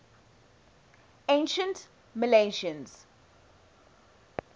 ancient milesians